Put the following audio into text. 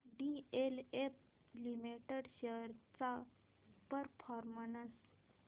DLF limited shares चा performance